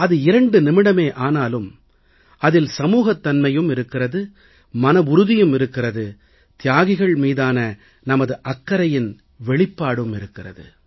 அது இரண்டு நிமிடமே ஆனாலும் அதில் சமூகத் தன்மையும் இருக்கிறது மனவுறுதியும் இருக்கிறது தியாகிகள் மீதான நமது அக்கறையின் வெளிப்பாடும் இருக்கிறது